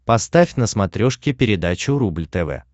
поставь на смотрешке передачу рубль тв